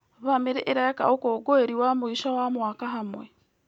Bamĩrĩ ĩreka ũkũngũĩri wa mũico wa mwaka hamwe.